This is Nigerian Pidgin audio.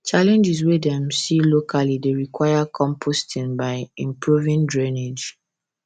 challenges wey dem see locally dey require composting by improving drainage